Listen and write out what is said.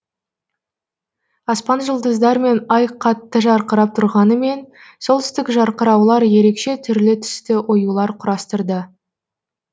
аспан жұлдыздармен ай қатты жарқырап тұрғанымен солтүстік жарқыраулар ерекше түрлі түсті оюлар құрастырды